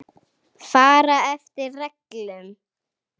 Fara eftir reglum.